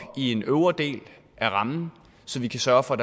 i en øvre del af rammen så vi kan sørge for